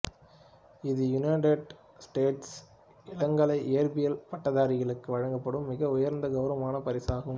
இது யுனைடெட் ஸ்டேட்ஸில் இளங்கலை இயற்பியல் பட்டதாரிகளுக்கு வழங்கப்படும் மிக உயர்ந்த கௌரவமான பரிசு ஆகும்